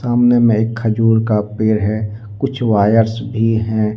अमने में एक खजूर का पेड़ है कुछ वायर्स भी है।